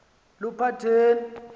luphatheni